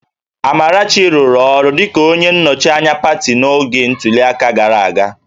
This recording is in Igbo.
Amarachi rụrụ ọrụ dịka onye nnọchi anya pati n'oge ntuli aka gara aga